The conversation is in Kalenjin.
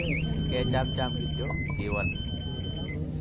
kechamcham kityo, kiwal